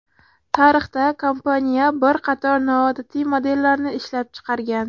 Tarixda kompaniya bir qator noodatiy modellarni ishlab chiqargan.